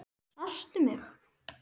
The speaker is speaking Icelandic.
Sástu mig?